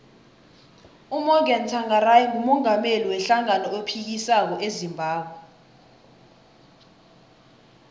umorgan tshangari ngumungameli we hlangano ephikisako ezimbabwe